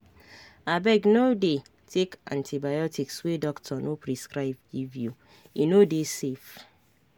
abeg no dey take antibiotics wey doctor no prescribe give youe no dey safe.